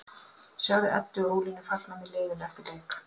Sjáðu Eddu og Ólínu fagna með liðinu eftir leik